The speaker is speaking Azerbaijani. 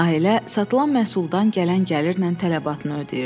Ailə satılan məhsuldan gələn gəlirlə tələbatını ödəyirdi.